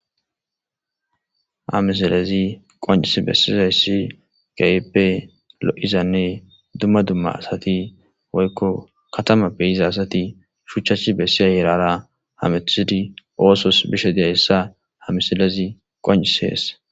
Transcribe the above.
ሀ misilez qoncis bessizayssi gayppe lo7izanne dumma dumma asati woykko katamappeyiza asati shuchchach bessiya yerara hamethidi oosos bishe deayssa ha miselezi qoncis heessa